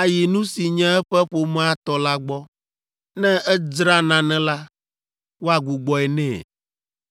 ayi nu si nye eƒe ƒomea tɔ la gbɔ; ne edzra nane la, woagbugbɔe nɛ!